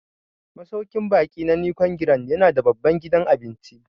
Masauƙin baƙi na Nicon Grand ya na da babban gidan cin abinci